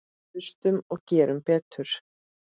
Hlustum og gerum betur.